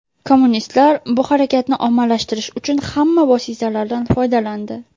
Kommunistlar bu harakatni ommalashtirish uchun hamma vositalardan foydalandi.